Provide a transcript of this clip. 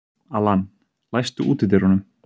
Allan, læstu útidyrunum.